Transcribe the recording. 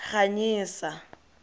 ganyesa